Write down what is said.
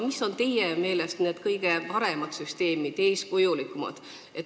Mis on teie meelest kõige paremad, eeskujulikumad süsteemid?